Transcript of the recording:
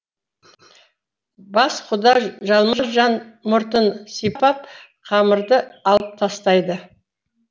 бас құда жалма жан мұртын сипап қамырды алып тастайды